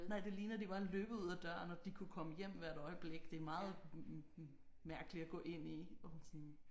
Nej det ligner de bare er løbet ud af døren og de kunne komme hjem hvert øjeblik det er meget mærkeligt at gå ind i og man sådan